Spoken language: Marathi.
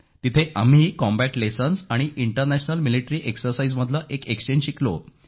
तिथे आम्ही ही कॉम्बॅट लेसन्स आणि इंटरनॅशनल मिलिटरी एक्सरसाइज मधील एक एक्सचेंज शिकलो